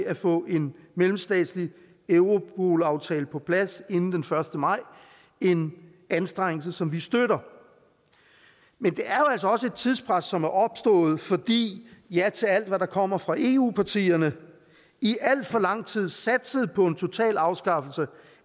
at få en mellemstatslig europolaftale på plads inden den første maj det er en anstrengelse som vi støtter men det er jo altså også et tidspres som er opstået fordi ja til alt der kommer fra eu partierne i alt for lang tid satsede på en total afskaffelse